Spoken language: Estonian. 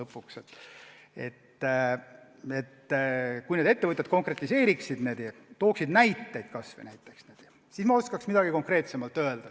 Kui need teiega kohtunud ettevõtjad konkretiseeriksid oma etteheiteid, tooksid kas või näiteid, siis ma oskaks midagi konkreetsemalt öelda.